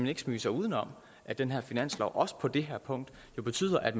ikke smyge sig uden om at den her finanslov også på det her punkt jo betyder at